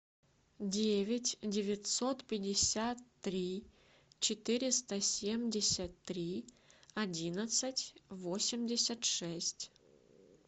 девять девятьсот пятьдесят три четыреста семьдесят три одиннадцать восемьдесят шесть